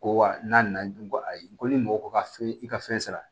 Ko wa n'a na na dun ko ayi ko ni mɔgɔ ko ka i ka fɛn sara